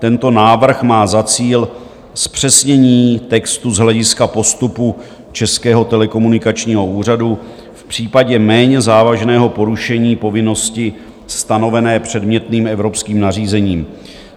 Tento návrh má za cíl zpřesnění textu z hlediska postupu Českého telekomunikačního úřadu v případě méně závažného porušení povinnosti stanovené předmětným evropským nařízením.